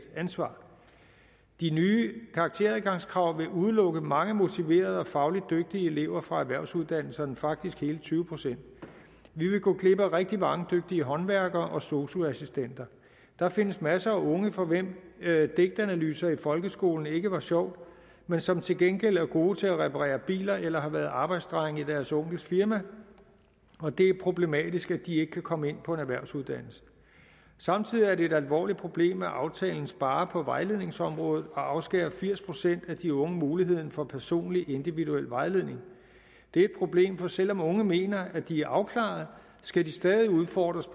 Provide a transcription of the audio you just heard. ansvar de nye karakteradgangskrav vil udelukke mange motiverede og fagligt dygtige elever fra erhvervsuddannelserne faktisk hele tyve procent vi vil gå glip af rigtig mange dygtige håndværkere og sosu assistenter der findes masser af unge for hvem digtanalyse i folkeskolen ikke var sjovt men som til gengæld er gode til at reparere biler eller har været arbejdsdreng i deres onkels firma det er problematisk at de ikke kan komme ind på en erhvervsuddannelse samtidig er det et alvorligt problem at aftalen sparer på vejledningsområdet og afskærer firs procent af de unge mulighed for personlig individuel vejledning det er et problem for selv om unge mener at de er afklaret skal de stadig udfordres